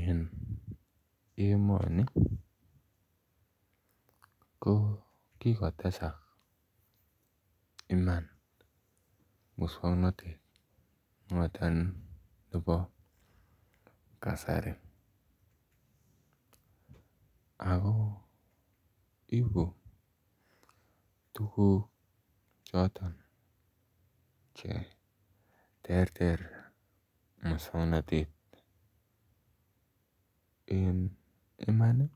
En emoni ko kikotesak iman muswongnotet noton nebo kasari ako ibu tuguk choton cheterter muswongnotet en iman ih